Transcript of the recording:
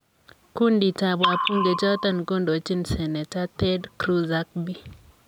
Kunditab wabunge chotok kondochin seneta Ted Cruz ak Bi.